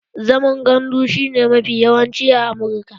Zaman gandu shi ne mafi yawanci a Amurka